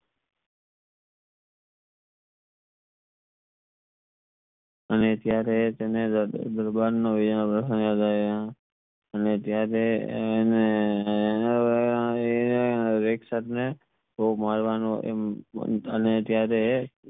અને ત્યારે તેને દરબાર નો યાદ આવ્યો ને ત્યરેહ અને ખૂબ મડવાનો અને ત્યરેહ